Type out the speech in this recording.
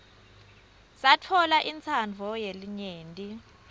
satfola intsandvo yelinyenti